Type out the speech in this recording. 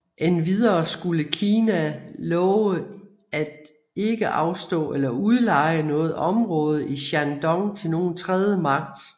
Endvidere skulle Kina lova at ikke afstå eller udleje noget område i Shandong til nogen tredje magt